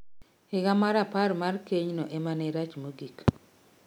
Higa mar apar mar keny no emane rach mogik